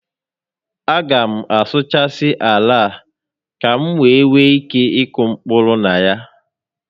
A ga m asuụchasị ala a ka m wee nwee ike ịkụ mkpụrụ na ya